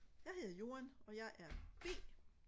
jeg hedder Joan og jeg er b